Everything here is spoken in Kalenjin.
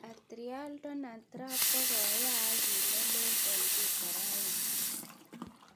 @realdonaldtrump kog'okoyaak kiit nelel eng' twita raini